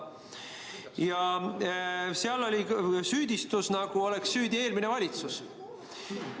Ja seal kõlas, nagu oleks süüdi eelmine valitsus.